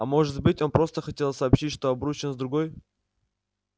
а может быть он просто хотел сообщить что обручен с другой